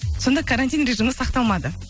сонда карантин режимі сақталмады